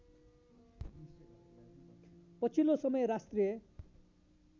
पछिल्लो समय राष्ट्रिय